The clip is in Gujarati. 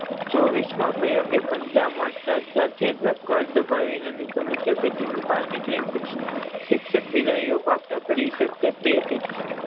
ચોવીસ માં પંજા મારતા સાથે જ કાળ દબાવી ને સમસ્યા પેટી ની બાર નીકળીને શિક્ષક બિલાડીએ હતી